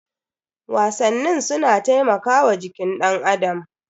Wasannin su na taimakawa jikin danAdam.